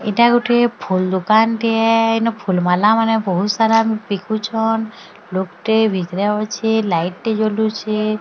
ଏଇଟା ଗୁଟେ ଫୁଲ ଦୁକାନ ଟିଏ ଇନୁ ଫୁଲୱାଲା ମାନେ ବହୁତ୍ ସାରା ବିକୁଚନ୍ ବିକ୍ରି ହେଉଛି ଲାଇଟ୍ ଟେ ଜଳୁଛେ।